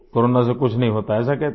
corona से कुछ नहीं होता है ऐसा कहते है